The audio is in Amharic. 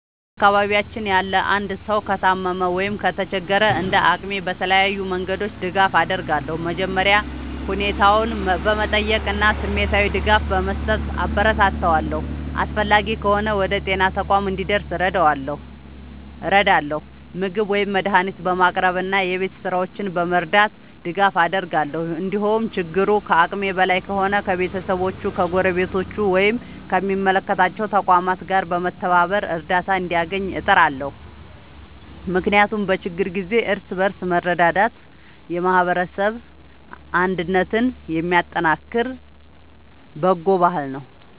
በአካባቢያችን ያለ አንድ ሰው ከታመመ ወይም ከተቸገረ፣ እንደ አቅሜ በተለያዩ መንገዶች ድጋፍ አደርጋለሁ። መጀመሪያ ሁኔታውን በመጠየቅ እና ስሜታዊ ድጋፍ በመስጠት አበረታታዋለሁ። አስፈላጊ ከሆነ ወደ ጤና ተቋም እንዲደርስ እረዳለሁ፣ ምግብ ወይም መድኃኒት በማቅረብ እና የቤት ሥራዎቹን በመርዳት ድጋፍ አደርጋለሁ። እንዲሁም ችግሩ ከአቅሜ በላይ ከሆነ ከቤተሰቦቹ፣ ከጎረቤቶች ወይም ከሚመለከታቸው ተቋማት ጋር በመተባበር እርዳታ እንዲያገኝ እጥራለሁ። ምክንያቱም በችግር ጊዜ እርስ በርስ መረዳዳት የማህበረሰብ አንድነትን የሚያጠናክር በጎ ባህል ነው።